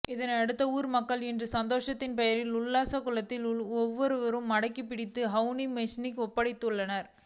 இதனை அடுத்து ஊர் மக்கள் இன்று சந்தேகத்தின் பெயரில் உக்குளாம்குளத்தில் உள்ள ஒருவரை மடக்கிப்பிடித்து வவுனியா பொலிசில் ஒப்படைத்தனர்